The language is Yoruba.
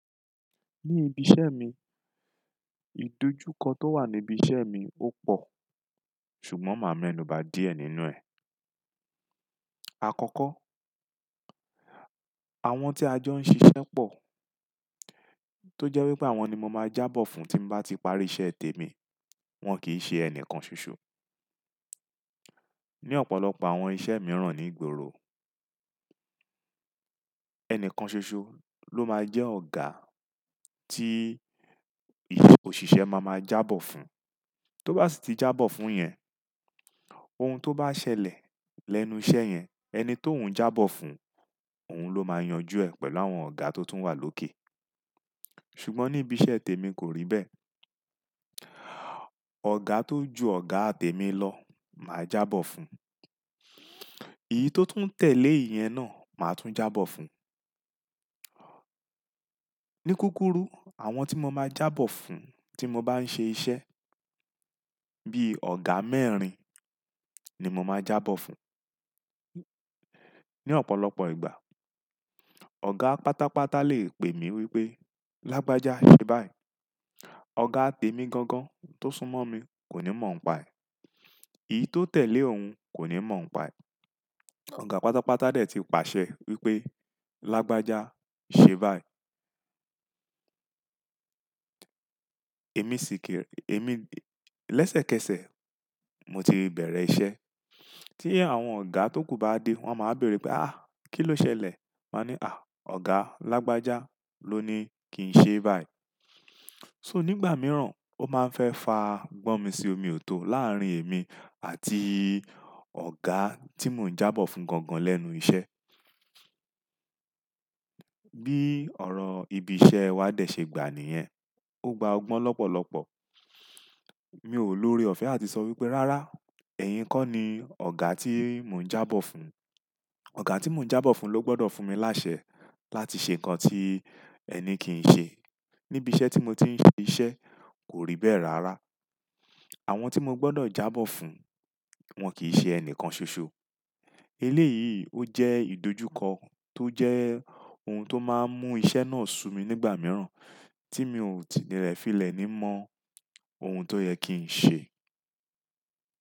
Ní ibi iṣẹ́ mi, ìdojúkọ tó wà níbi iṣẹ́ mi ó pọ̀, ṣùgbọ́n máa mẹ́nu bà díẹ̀ nínú ẹ̀. Àkọ́kọ́, àwọn tí ajọ ń ṣiṣẹ́ pọ̀, tó jẹ́ wípé àwọn ni mo máa jábọ̀ fún tí mo bá ti parí iṣẹ́ tèmi, wọ́n kì í ṣe ẹnìkan ṣoṣo. Ní ọ̀pọ̀lọpọ̀ àwọn iṣẹ́ mìíràn ní ìgboro, ẹnìkan ṣoṣo ló máa jẹ́ ọ̀gá tí òṣìṣẹ́ máa máa jábọ̀ fún. Tó bá sì ti jábọ̀ fún yẹn, ohun tó bá ṣẹlẹ̀ lẹ́nu iṣẹ́ yẹn, ẹni tó un jábọ̀ fún, òun ló máa yanjú ẹ̀ pẹ̀lú àwọn ọ̀gá tó tún wà lókè. Ṣùgbọ́n ní ibi iṣẹ́ tèmi kò rí bẹ́ẹ̀. Ọ̀gá tó ju ọ̀gá tẹ́ mi lọ máa jábọ̀ fún, èyí tó tún tẹ̀lé ìyẹn náà máa tún jábọ̀ fún. Ní kúkúrú, àwọn tí mo máa jábọ̀ fún tí mo bá ń ṣe iṣẹ́, bí i ọ̀gá mẹ́rin ni mo máa jábọ̀ fún. Ní ọ̀pọ̀lọpọ̀ ìgbà, ọ̀gá pátápátá lè pè mí wípé "Lágbájá, ṣe báyìí!" Ọ̀gá tẹ́ mi gangan tó súnmọ́ mi kò ní mọ̀ n paẹ̀. Èyí tó tẹ̀lé òun kò ní mọ̀ ọ́n paẹ̀. Ọ̀gá pátápátá dè tí paṣẹ wípé "Lágbájá, ṣe báyìí!" Lẹ́sẹ̀kẹsẹ̀, mo ti bẹ̀rẹ̀ iṣẹ́. Tí àwọn ọ̀gá tókù bá dé, wọ́n máa bèèrè pé "àáà, kí ló ṣẹlẹ̀?" Máa ní "àh, Ọ̀gá Lágbájá ló ní kí n ṣe báyìí." So nígbà mìíràn, ó máa ń fẹ́ fa gbọ́n mi sí omi ò tó láàárín èmi àti ọ̀gá tí mò ń jábọ̀ fún gangan lẹ́nu iṣẹ́. Bí ọ̀rọ̀ ibi iṣẹ́ wa dè ṣe gbà níyẹn, ó gba ọgbọ́n lọ́pọ̀lọpọ̀. Mi ò lórí ọ̀fẹ́ àti sọ wípé "Rárá, ẹ̀yin kọ́ ni ọ̀gá tí mò ń jábọ̀ fún. Ọ̀gá tí mò ń jábọ̀ fún ló gbọ́dọ̀ fún mi láṣẹ láti ṣe nǹkan tí ẹni kì í ṣe." Ní ibi iṣẹ́ tí mo ti ń ṣe iṣẹ́, kò rí bẹ́ẹ̀ rárá. Àwọn tí mo gbọ́dọ̀ jábọ̀ fún, wọ́n kì í ṣe ẹnìkan ṣoṣo. Ilé yìí ó jẹ́ ìdojúkọ tó jẹ́ ohun tó máa ń mú iṣẹ́ náà sú mi nígbà mìíràn tí mi ò tí nìrẹ̀ fí ìlẹ̀ ní mọ ohun tó yẹ kí n ṣe.